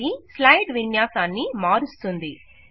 ఇది స్లైడ్ విన్యాసాన్ని మారుస్తుంది